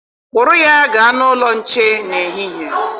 Kpụrụ ya gaa n'ụlọ nche n'ehihie.